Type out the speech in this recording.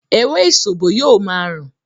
“ewé ìsòbò” yóò ma rùn.